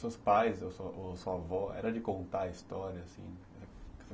Seus pais ou sua avó, era de contar a história assim?